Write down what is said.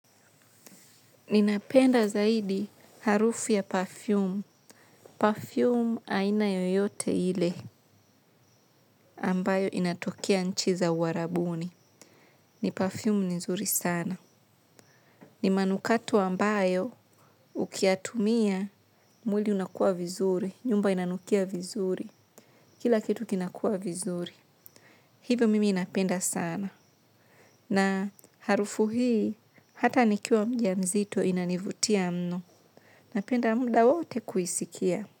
Ninapenda zaidi harufu ya perfum. Perfum aina yoyote ile ambayo inatokea nchi za uarabuni. Ni perfum nzuri sana. Ni manukato ambayo ukiyatumia mwili unakua vizuri. Nyumba inanukia vizuri. Kila kitu kinakua vizuri. Hivi mimi napenda sana na harufu hii hata nikiwa mja mzito inanivutia mno napenda mda wote kuisikia.